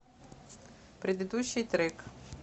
предыдущий трек